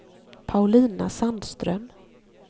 Paulina Sandström